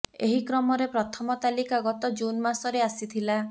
ଏହି କ୍ରମରେ ପ୍ରଥମ ତାଲିକା ଗତ ଜୁନ୍ ମାସରେ ଆସିଥିଲା